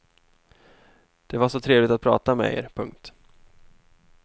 Det var så trevligt att prata med er. punkt